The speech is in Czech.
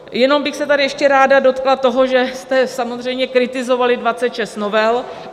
Jenom bych se tady ještě ráda dotkla toho, že jste samozřejmě kritizovali 26 novel.